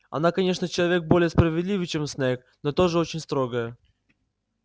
она конечно человек более справедливый чем снегг но тоже очень строгая